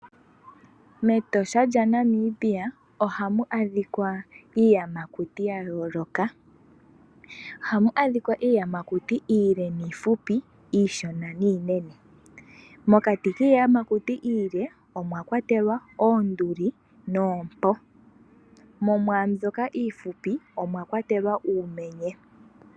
Metosha lya Namibia ohamu adhika iiyamakuti ya yooloka. Ohamu adhika iiyamakuti iile niihupi, iishona niinene. Mokati kiiyamakuti iile omwakwatelwa oonduli noompo ,mo mwaamboka iihupi omwakwatelwa uumenye.